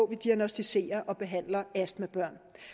vi diagnosticere og behandler astmabørn